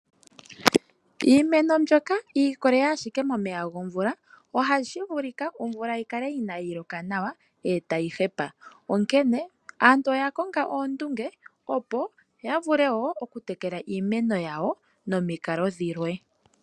Iimeno mbyoka yi ikolelela ashike momeya gomvula, ohashi vulika omvula yi kale inaayi loka nawa e tayi hepa. Onkene aantu oya konga oondunge, opo ya vule wo okutekela iimeno yawo nomikalo dhilwe.